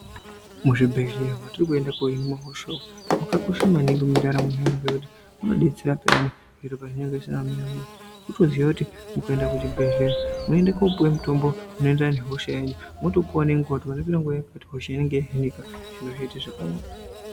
Muzvibhedhela mwatiri kuenda umwo mwakakosha maningi mundaramo yeantu ngekuti munobetsera peyani zviro pazvinenge zvakamira. Kutoziye kuti ukaenda kuzvibhedheya unoenda kunopiwe mitombo unoendera nehosha yenyu, mwotopiwa nenguva kuti vanopinda nguvai zviro zvotoita zvakanaka.